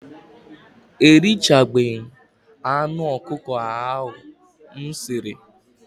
Erichabeghi m anụ ọkụkọ ahụ m siri.